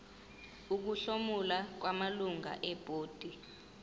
ukuhlomula kwamalungu ebhodi